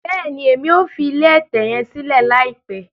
Bẹẹni, Èmí o fi ilé ẹtẹ yẹn silẹ laipẹ